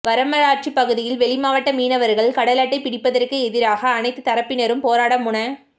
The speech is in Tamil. வடமராட்சி பகுதியில் வெளிமாவட்ட மீனவர்கள் கடலட்டை பிடிப்பதற்கு எதிராக அனைத்துத் தரப்பினரும் போராட முன